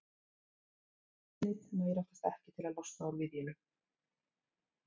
Viljinn einn nægir oftast ekki til að losna úr viðjunum.